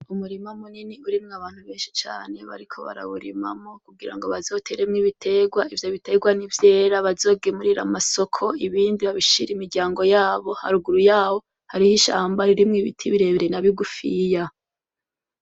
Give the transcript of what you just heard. Umurima munini urimwo abantu benshi cane bariko barawurimamwo kugira ngo bazoteremwo ibitegwa, ivyo bitegwa nivyera bazogemurire amasoko; ibindi babishire imiryango yabo, haruguru yabo harih'ishamba ririmwo ibiti birebire na bigufiya.